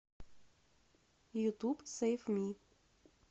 ютуб сейв ми